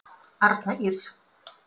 Arna Ýrr.